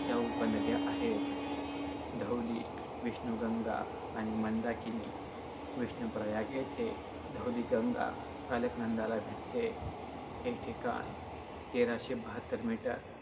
च्या उपनद्या आहेत - धौली, विष्णूगंगा आणि मंदाकिनी. विष्णूप्रयाग येथे धौलीगंगा अलकनंदाला भेटते. हे ठिकाण तेराशे बहात्तर meter